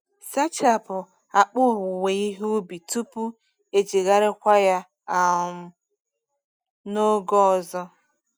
Sachapụ akpa owuwe ihe ubi tupu ejigharịkwa ya um n’oge ọzọ.